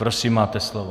Prosím, máte slovo.